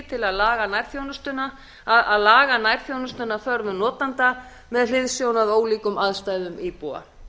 til að laga nærþjónustuna að þörfum notenda með hliðsjón af ólíkum aðstæðum íbúa